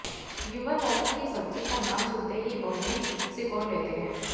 युवा लौकी की सब्जी का नाम सुनते ही भौहें सिकोड़ लेते है